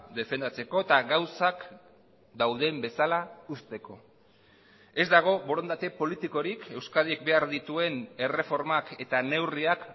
defendatzeko eta gauzak dauden bezala uzteko ez dago borondate politikorik euskadik behar dituen erreformak eta neurriak